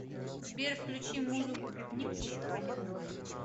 сбер включи музыку пикник еще один дождь